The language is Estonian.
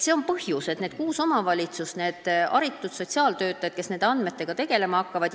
See on põhjus, miks kuus omavalitsust ja nende haritud sotsiaaltöötajad nende andmetega tegelema hakkavad.